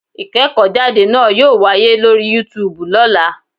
Ìkéèkó jáde náa yóò wáyé lórí Yúutùbù lọ́lá